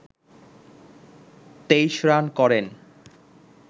২৩ run করেন